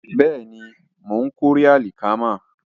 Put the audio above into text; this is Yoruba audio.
Bẹ́ẹ̀ni, mò ń kórè àlìkámà